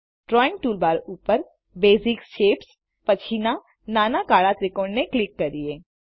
drawing toolbar ઉપરBasic Shapesપછીના નાના કાળા ત્રિકોણને ક્લિક કરીએ